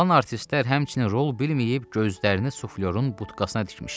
Qalan artistlər həmçinin rol bilməyib gözlərini suflyorun budkasına tikmişdilər.